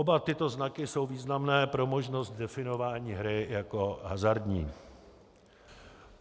Oba tyto znaky jsou významné pro možnost definování hry jako hazardní.